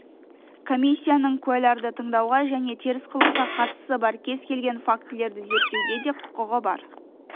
комиссияның куәларды тыңдауға және теріс қылыққа қатысы бар кез келген фактілерді зерттеуге де құқығы бар